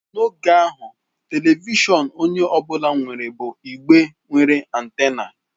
N'oge ahụ, telivishọn onye ọ bụla nwere bụ igbe nwere antena.